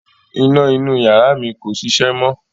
Iná inú ìyàrá mi kò ṣiṣẹ́ mọ̀